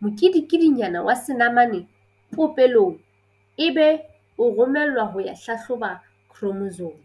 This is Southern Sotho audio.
mokedikedinyana wa senamane popelong ebe o romellwa ho ya hlahloba khromosome.